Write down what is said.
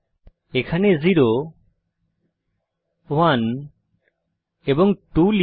এখানে 0 1 এবং 2 লিখুন